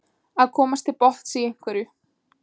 Að komast til botns í einhverju